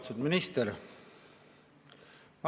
Austatud minister!